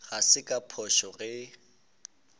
ga se ka phošo ge